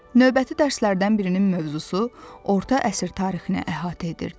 Növbəti dərslərdən birinin mövzusu orta əsr tarixini əhatə edirdi.